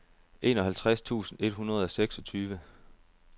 enoghalvtreds tusind et hundrede og seksogtyve